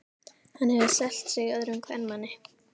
Hann hefur selt sig öðrum kvenmanni.